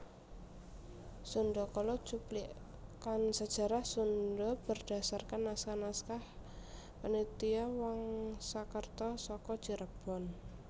Sundhakala cuplikan sejarah Sundha berdasarkan naskah naskah Panitia Wangsakerta saka Cirebon